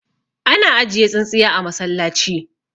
ana ajiye tsintsiya a masallaci